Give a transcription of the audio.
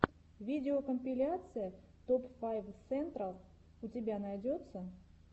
видеокомпиляция топ файв сентрал у тебя найдется